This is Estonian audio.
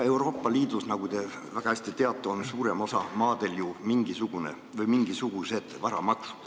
Euroopa Liidus, nagu te väga hästi teate, on suuremas osas maadest ju mingisugused varamaksud.